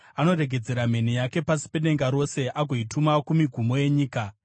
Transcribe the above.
Anoregedzera mheni yake pasi pedenga rose, agoituma kumigumo yenyika.